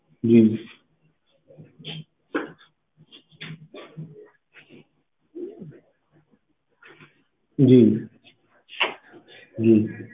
ਜੀ ਜੀ ਜੀ